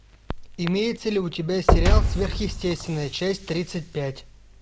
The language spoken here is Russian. имеется ли у тебя сериал сверхъестественное часть тридцать пять